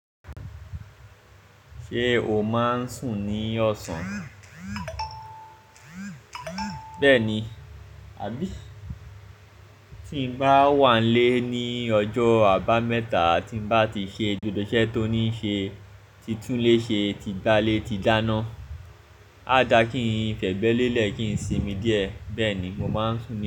Ṣé o máa ń sùn ní ọ̀sán? Bẹ́ẹ̀ni, àbí? Tí n bá wà lé ní ọjọ́ àbámẹ́ta, tí n bá ti ṣe gbogbo iṣẹ́ tó ní ṣe, tí tún lé ṣe, tí gbá lé, tí dáná, a dà kí n fẹ̀bẹ̀ lélẹ̀ kí n simi díẹ̀. Bẹ́ẹ̀ ni mo máa ń sùn ní.